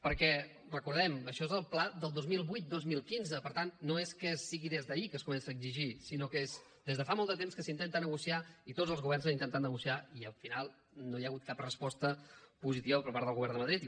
perquè recordem ho això és el pla del dos mil vuit dos mil quinze per tant no és que sigui des d’ahir que es comença a exigir sinó que és des de fa molt de temps que s’intenta negociar i tots els governs han intentat negociar i al final no hi ha hagut cap resposta positiva per part del govern de madrid